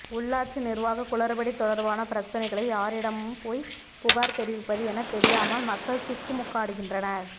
உள்ளாட்சி நிர்வாக குளறுபடி தொடர்பான பிரச்னைகளை யாரிடம் போய் புகார் தெரிவிப்பது என தெரியாமல் மக்கள் திக்குமுக்காடுகின்றனர்